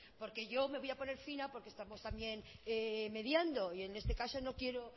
porque yo me voy a poner fina porque estamos también mediando y en este caso no quiero